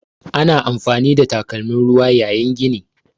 Ana amfani da takalmin ruwa yayin gini.